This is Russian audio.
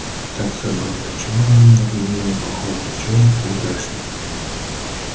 так забыл до чего они на людей не похожи до чего их прекрасней